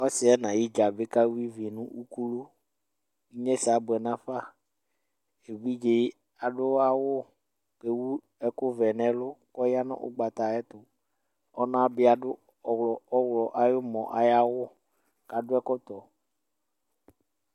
ɔsidɩ nʊ ayidzǝ kawa ivi nʊ ukulu, inyesɛ abuɛ nafa, evidze yɛ adʊ awu kʊ ewu ɛkʊvɛ nɛlu kʊ ɔya nʊ ugbata ayɛtʊ, ɔnata adʊ ɔɣlɔmɔ awʊ, kʊ akɔ ɛkɔtɔ